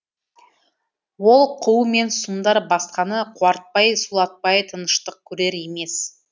ол қу мен сұмдар басқаны қуартпай сулатпай тыныштық көрер емес